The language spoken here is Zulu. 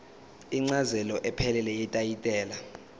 incazelo ephelele yetayitela